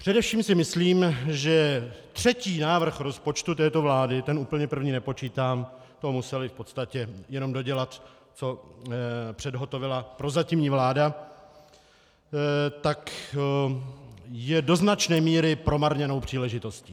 Především si myslím, že třetí návrh rozpočtu této vlády, ten úplně první nepočítám, to museli v podstatě jenom dodělat, co předhotovila prozatímní vláda, tak je do značné míry promarněnou příležitostí.